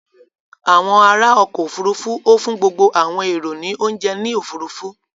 Awon ara oko ofurufu o fun gbogbo awon ero ni ounje ni ofurufu.